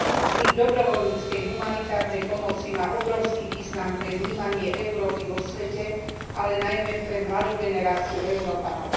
Vznik dobrovoľníckej humanitárnej pomoci má obrovský význam pre vnímanie Európy vo svete, ale najmä pre mladú generáciu Európanov.